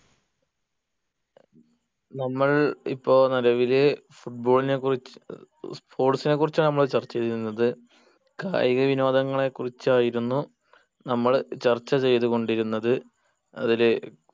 നമ്മൾ ഇപ്പൊ നിലവില് football നെ കുറിച്ച് sports നെ കുറിച്ചാ നമ്മള് ചർച്ച ചെയ്യുന്നത് കായിക വിനോദങ്ങളെ കുറിച്ചായിരുന്നു നമ്മൾ ചർച്ച ചെയ്തു കൊണ്ടിരുന്നത് അതില്